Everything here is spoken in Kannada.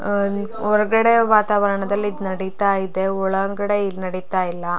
ಅಹ್ ಹೊರಗಡೆ ವಾತಾವರಣದಲ್ಲಿ ಈದ್ ನಡಿತ್ತಾ ಇದೆ ಒಳಗಡೆ ಇಲ್ಲಿ ನಡಿತಾ ಇಲ್ಲ.